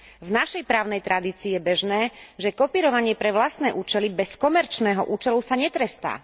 V našej právnej tradícii je bežné, že kopírovanie pre vlastné účely bez komerčného účelu sa netrestá.